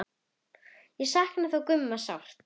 Ég saknaði þó Gumma sárt.